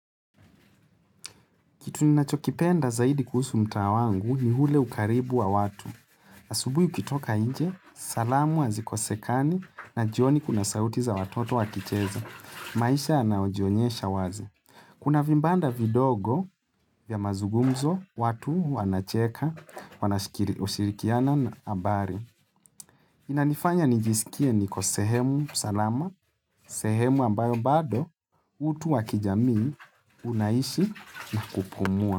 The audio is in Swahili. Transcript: Kitu ni nachokipenda zaidi kuhusu mtaa wangu ni hule ukaribu wa watu. Asubui ukitoka inje, salamu azi kosekani na jioni kuna sauti za watoto wakicheza. Maisha anayojionyesha wazi. Kuna vimbanda vidogo vya mazugumzo, watu wanacheka, wanashikiri shirikiana na abari. Inanifanya nijisikie ni kosehemu salama, sehemu ambayo bado utu wakijamii unaishi na kupumua.